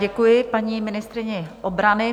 Děkuji paní ministryni obrany.